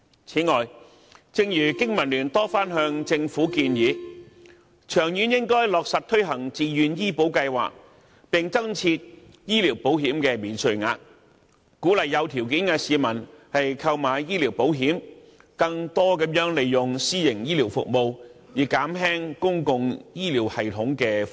此外，正如經民聯多番向政府建議，長遠應落實推行自願醫保計劃，並增設醫療保險免稅額，鼓勵有條件的市民購買醫療保險，更多地使用私營醫療服務，以減輕公共醫療系統的負擔。